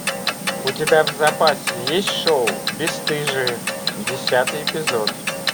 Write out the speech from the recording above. у тебя в запасе есть шоу бесстыжие десятый эпизод